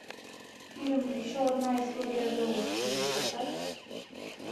фильм еще одна история золушки поставь